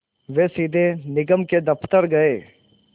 वे सीधे निगम के दफ़्तर गए